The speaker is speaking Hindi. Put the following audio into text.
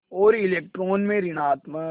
और इलेक्ट्रॉन में ॠणात्मक